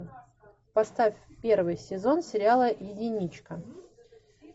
поставь первый сезон сериала единичка